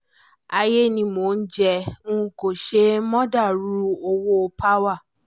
ayé ni mọ̀ọ́ ò jẹ́ n kó ṣe mọ̀dàrú owó n- power